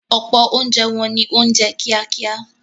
Ọ̀pọ̀ oúnjẹ wọn ni oúnjẹ kíákíá.